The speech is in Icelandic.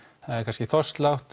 það er kannski